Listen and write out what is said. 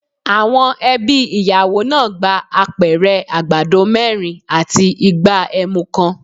Àwọn ẹbí ìyàwó náà gba Apẹ̀rẹ̀ àgbàdo mẹ́rin àti igbá ẹmu kan.